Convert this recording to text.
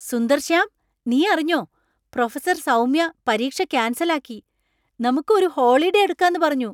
സുന്ദർശ്യാം, നി അറിഞ്ഞോ ? പ്രൊഫസർ സൌമ്യ പരീക്ഷ കാൻസൽ ആക്കി, നമുക്ക് ഒരു ഹോളിഡേ എടുക്കാന്ന് പറഞ്ഞു!